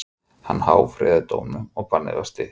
Hann áfrýjaði dómnum og bannið var stytt.